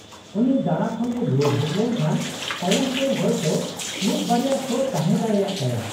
-ᱩᱱᱤ ᱫᱟᱬᱟ ᱠᱷᱚᱱᱮ ᱨᱩᱣᱟᱹᱲ ᱦᱮᱡ ᱞᱮᱱᱠᱷᱟᱱ ᱛᱟᱭᱚᱢ ᱛᱮ ᱦᱚᱭᱛᱚ ᱢᱤᱫ ᱵᱟᱨᱭᱟ ᱥᱳ ᱛᱟᱦᱮᱸ ᱫᱟᱲᱮᱭᱟ ᱛᱟᱭᱟ ᱾